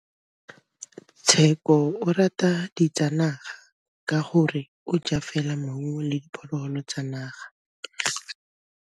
Tshekô o rata ditsanaga ka gore o ja fela maungo le diphologolo tsa naga.